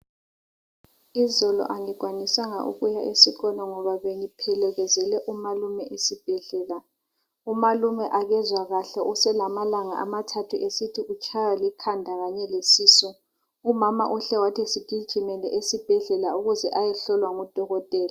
Izolo angikwanisanga ukuya esikolo ngoba bengiphekezele umalune esibhedlela umalume akezwa kahle uselamalanga amathathu esithi utshaywa likhanda kanye lesisu umama uhle wathi sigijimele esibhedlela ukuze ayehlolwa ngudokotela.